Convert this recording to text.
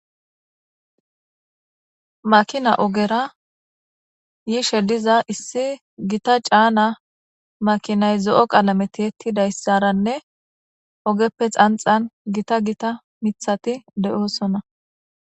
makina ogera yiishe diza issi gita caana makinay zo7o qalameti ettidayssaranne ogeppe xanxan gita gita mithati de7oosona